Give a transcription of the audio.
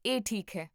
ਇਹ ਠੀਕ ਹੈ